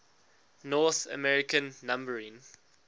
north american numbering